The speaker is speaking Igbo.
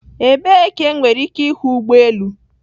Ebee ka enwere ike ịhụ ụgbọ elu?